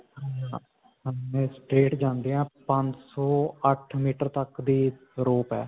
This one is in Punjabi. straight ਜਾਂਦੇ ਹਾਂ ਪੰਜਸੋ ਅੱਠ ਮੀਟਰ ਤੱਕ ਦੀ rope ਹੈ.